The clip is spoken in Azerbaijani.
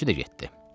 Üçü də getdi.